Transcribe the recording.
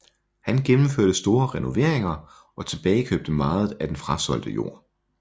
Han gennemførte store renoveringer og tilbagekøbte meget af den frasolgte jord